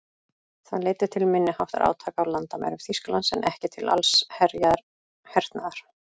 Það leiddi til minniháttar átaka á landamærum Þýskalands en ekki til allsherjar hernaðar.